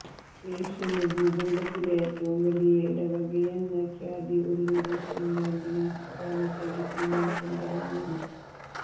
Asian ഭൂഖണ്ഡത്തിലെ ഏറ്റവും വലിയ ഇടവകയെന്ന ഖ്യാതി ഒല്ലൂര് സെന്റ് ആന്റണീസ് ഫൊറോന പള്ളിക്ക് ഇന്നും സ്വന്തമാണ്